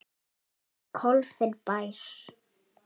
Klofinn bær.